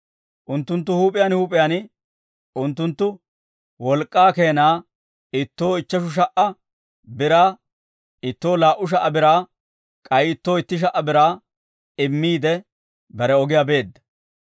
Unttunttu huup'iyaan huup'iyaan unttunttu wolk'k'aa keenaa ittoo ichcheshu sha"a biraa, ittoo laa"u sha"a biraa, k'ay ittoo itti sha"a biraa immiide, bare ogiyaa beedda.